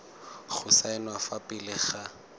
go saenwa fa pele ga